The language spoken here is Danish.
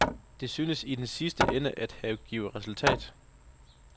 Det synes i den sidste ende at have givet resultat.